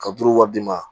Ka duuru wari d'i ma